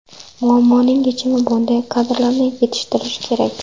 Muammoning yechimi bunday kadrlarni yetishtirish kerak.